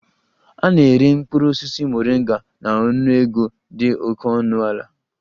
A na-ere mkpụrụ osisi Moringa na ọnụego dị oke ọnụ ala